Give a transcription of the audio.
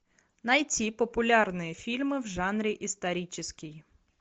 найти популярные фильмы в жанре исторический